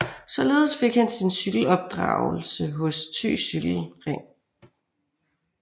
Således fik han sin cykelopdragelse hos Thy Cykle Ring